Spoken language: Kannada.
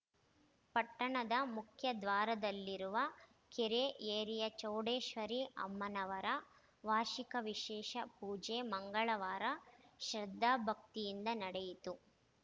ಪಟ್ಟಣದ ಮುಖ್ಯ ದ್ವಾರದಲ್ಲಿರುವ ಕೆರೆ ಏರಿಯ ಚೌಡೇಶ್ವರಿ ಅಮ್ಮನವರ ವಾರ್ಷಿಕ ವಿಶೇಷ ಪೂಜೆ ಮಂಗಳವಾರ ಶ್ರದ್ಧಾ ಭಕ್ತಿಯಿಂದ ನಡೆಯಿತು